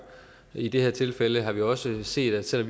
i det her tilfælde har vi også set at selv